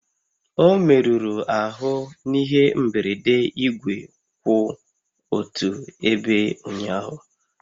Ọ merụrụ ahụ n'ihe mberede igwe kwụ otu ebe ụnyaahụ